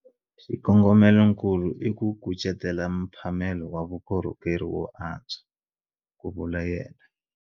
Xikongomelonkulu i ku kucetela mphamelo wa vukorhokeri wo antswa, ku vula yena.